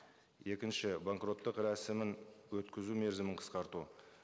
екінші банкроттық рәсімін өткізу мерзімін қысқарту